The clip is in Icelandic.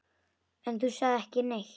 Þú sagðir ekki neitt.